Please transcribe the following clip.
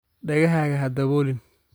Dhegahaaga ha daboolin